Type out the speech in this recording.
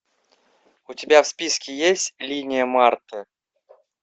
у тебя в списке есть линия марты